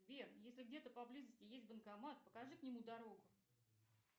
сбер если где то поблизости есть банкомат покажи к нему дорогу